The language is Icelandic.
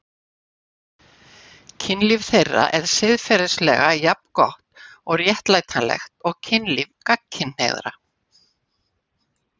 Kynlíf þeirra er siðferðilega jafn gott og réttlætanlegt og kynlíf gagnkynhneigðra.